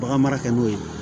Bagan mara kɛ n'o ye